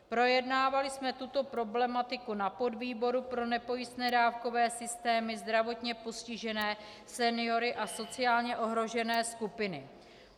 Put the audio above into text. Projednávali jsme tuto problematiku na podvýboru pro nepojistné dávkové systémy, zdravotně postižené, seniory a sociálně ohrožené skupiny.